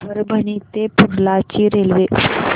परभणी ते पूर्णा ची रेल्वे